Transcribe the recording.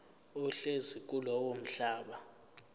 ohlezi kulowo mhlaba